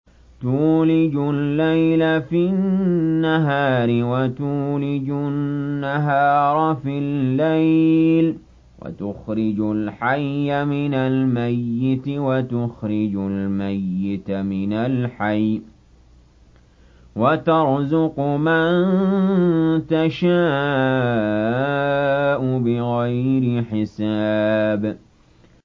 تُولِجُ اللَّيْلَ فِي النَّهَارِ وَتُولِجُ النَّهَارَ فِي اللَّيْلِ ۖ وَتُخْرِجُ الْحَيَّ مِنَ الْمَيِّتِ وَتُخْرِجُ الْمَيِّتَ مِنَ الْحَيِّ ۖ وَتَرْزُقُ مَن تَشَاءُ بِغَيْرِ حِسَابٍ